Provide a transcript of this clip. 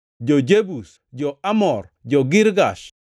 jo-Jebus, jo-Amor, jo-Girgash,